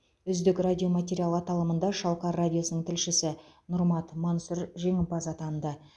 үздік радиоматериал аталымында шалқар радиосының тілшісі нұрмат мансұр жеңімпаз атанды